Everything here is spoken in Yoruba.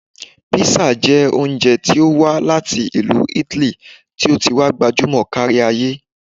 Písà jẹ́ oúnjẹ tí ó wá láti ìlú Italy tí ó ti wá gbajúmọ̀ kárí ayé